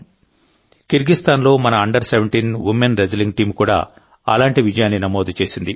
కిర్గిస్థాన్లో మన under 17 women wrestling team కూడా అలాంటి విజయాన్ని నమోదు చేసింది